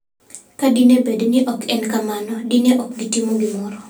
Ka dine bed ni ok en kamano, dine ok gitimo gimoro.